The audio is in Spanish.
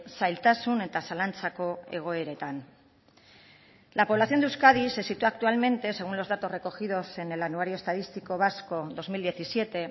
zailtasun eta zalantzako egoeretan la población de euskadi se sitúa actualmente según los datos recogidos en el anuario estadístico vasco dos mil diecisiete